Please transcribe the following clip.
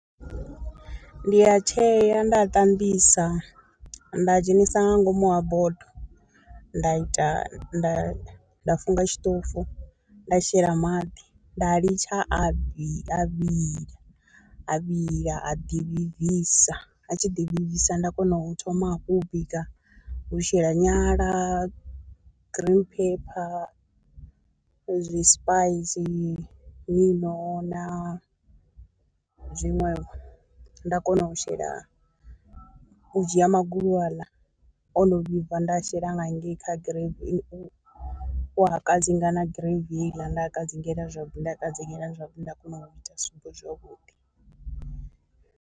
Ndi a tshea nda a ṱambisa nda dzhenisa nga ngomu ha bodo, nda ita nda nda funga tshiṱofu nda shela maḓi nda litsha a vhi a vhila a ḓi vhibvisa, a tshi ḓi vhibvisa nda kona u thoma hafhu u bika u shela nyala, green pepper, zwi spice na zwiṅwevho nda kona u shela u dzhia magulu aḽa ono vhibva nda shela nga hangei kha u a kadzinga na gravy heiḽa nda a kadzingela zwavhuḓi nda kadzingela zwavhuḓi nda kona u ita sobo zwavhuḓi.